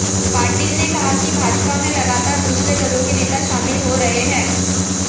पाटील ने कहा कि भाजपा में लगातार दूसरे दलों के नेता शामिल हो रहे हैं